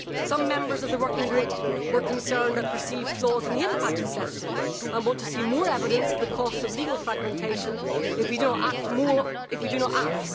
Some members of the working group were concerned at perceived flaws in the impact assessment and want to see more evidence of the costs of legal fragmentation if we do not act.